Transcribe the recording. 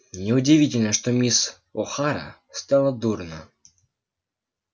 неудивительно что мисс охара стало дурно